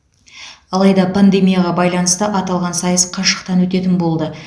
алайда пандемияға байланысты аталған сайыс қашықтан өтетін болды